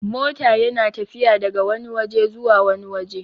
mota yana tafiya daga Wani waje zuwa wani waje